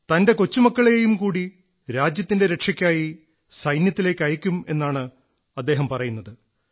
തന്റെ കൊച്ചുമക്കളെയും കൂടി രാജ്യത്തിന്റെ രക്ഷയ്ക്കായി സൈന്യത്തിലേക്കയയ്ക്കുമെന്നാണ് അദ്ദേഹം പറയുന്നത്